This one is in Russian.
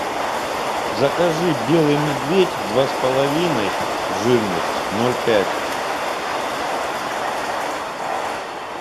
закажи белый медведь два с половиной жирность ноль пять